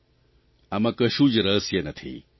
જૂઓ આમાં કશું જ રહસ્ય નથી